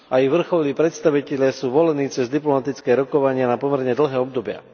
Aj vrcholní predstavitelia sú volení cez diplomatické rokovania na pomerne dlhé obdobia.